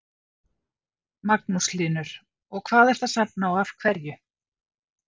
Magnús Hlynur: Og hvað ertu að safna og af hverju?